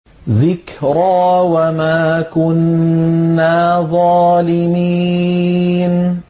ذِكْرَىٰ وَمَا كُنَّا ظَالِمِينَ